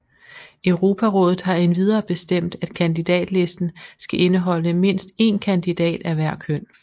Europarådet har endvidere bestemt at kandidatlisten skal indeholde mindst én kandidat af hver køn